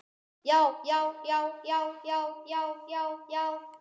JÁ, JÁ, JÁ, JÁ, JÁ, JÁ, JÁ, JÁ.